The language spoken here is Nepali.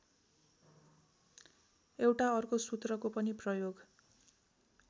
एउटा अर्को सूत्रको पनि प्रयोग